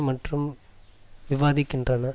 மற்றும் விவாதிக்கின்றன